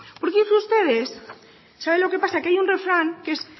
por cierto ustedes saben lo que pasa que hay un refrán que es